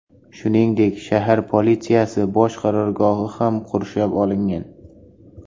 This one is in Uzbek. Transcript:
Shuningdek, shahar politsiyasi bosh qarorgohi ham qurshab olingan.